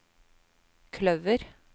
kløver